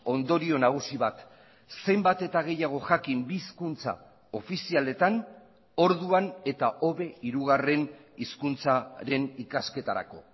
ondorio nagusi bat zenbat eta gehiago jakin bi hizkuntza ofizialetan orduan eta hobe hirugarren hizkuntzaren ikasketarako